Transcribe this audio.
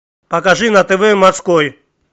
покажи на тв морской